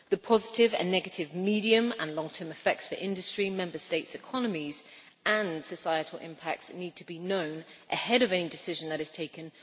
The positive and negative medium and long term effects for industry, Member States' economies, and societal impacts need to be known ahead of any decision that is taken.